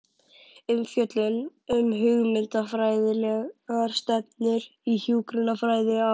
Umfjöllun um hugmyndafræðilegar stefnur í hjúkrunarfræði á